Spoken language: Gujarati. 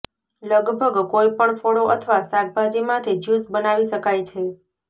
લગભગ કોઈપણ ફળો અથવા શાકભાજીમાંથી જ્યૂસ બનાવી શકાય છે